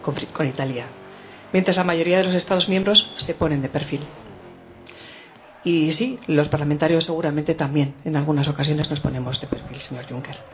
con Italia mientras la mayoría de los Estados miembros se pone de perfil y, sí, los parlamentarios seguramente también, en algunas ocasiones, nos ponemos de perfil, señor Juncker.